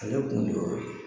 Kɛlɛ kun de y'o ye.